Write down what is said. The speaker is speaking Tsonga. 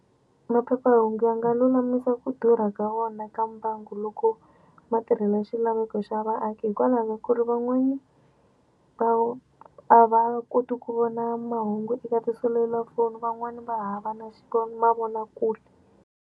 Maphephahungu ya nga lulamisa ku durha ka wona ka mbangu loko ma tirhela xilaveko xa vaaki hikwalaho ka ku ri van'wani a va koti ku vona mahungu eka tiselulafoni van'wani va hava na mavonakule.